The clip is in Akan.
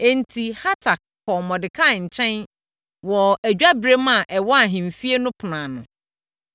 Enti, Hatak kɔɔ Mordekai nkyɛn wɔ adwaberem a ɛwɔ ahemfie no ɛpono ano.